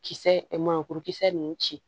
Kisɛ ɛ mangoro kuru kisɛ ninnu ci